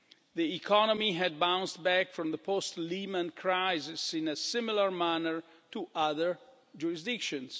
The economy had bounced back from the post Lehman crisis in a similar manner to other jurisdictions.